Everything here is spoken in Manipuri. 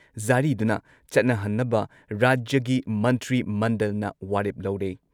ꯖꯥꯔꯤꯗꯨꯅ ꯆꯠꯅꯍꯟꯅꯕ ꯔꯥꯖ꯭ꯌꯒꯤ ꯃꯟꯇ꯭ꯔꯤꯃꯟꯗꯜꯅ ꯋꯥꯔꯦꯞ ꯂꯧꯔꯦ꯫